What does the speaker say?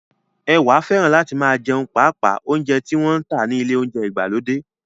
Ẹwà fẹ́ràn láti máa jẹun paapa óúnjẹ tí wọ́n ń tà ní ilé óúnjẹ ìgbàlódé